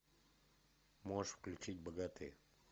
можешь включить богатые